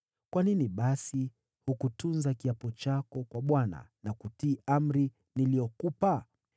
Kwa nini basi hukutunza kiapo chako kwa Bwana na kutii amri niliyokupa?”